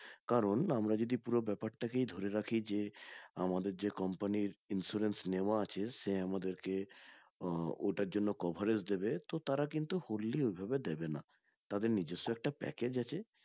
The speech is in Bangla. কারণ আমরা যদি পুরো ব্যাপারটাকে ধরে রাখি যে আমাদের যে company insurance নেওয়া আছে সে আপনাদেরকে আহ ওটার জন্য coverage দিবে তো তারা কিন্তু fully ওভাবে দিবে না তাদের নিজস্ব একটা package আছে